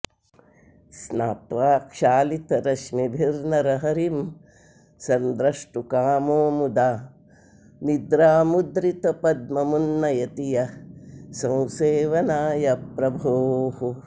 स्नात्वा क्षालितरश्मिभिर्नरहरिं सन्द्रष्टुकामो मुदा निद्रामुद्रितपद्ममुन्नयति यः संसेवनाय प्रभोः